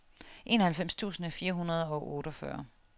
enoghalvfems tusind fire hundrede og otteogfyrre